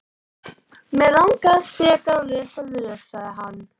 Mig langar frekar að lesa lög, sagði hann.